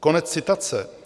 - Konec citace.